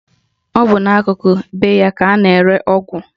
Ọ bụ n'akụkụ be ya ka a na-ere ọgwụ